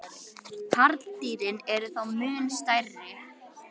Karldýrin eru þó mun stærri.